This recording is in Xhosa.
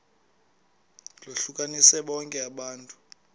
lohlukanise bonke abantu